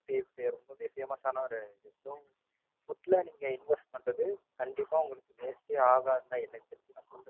ரொம்பவே Famous கண்டிப்பா உங்களுக்க waste ஆகாது. எனக்குத் தெரிஞ்சு நான் சொல்லுவேன்.